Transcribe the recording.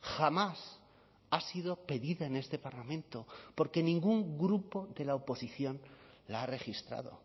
jamás ha sido pedida en este parlamento porque ningún grupo de la oposición la ha registrado